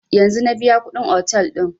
Yanzun na biya kuɗin otel ɗin